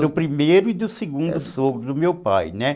Do primeiro e do segundo sogro do meu pai, né?